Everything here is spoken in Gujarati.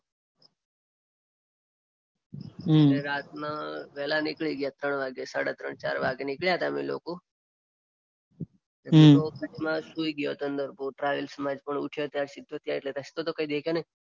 રાતના વહેલા નીકળી ગયા ત્રણ વાગે સડા ત્રણ ચાર વાગે નીકળ્યા તા અમે લોકો. હું તો બસમાં સૂઈ ગયો તો ટ્રાવેલ્સમાં જ એટલે રસ્તો તો કઈ દેખે નઇ.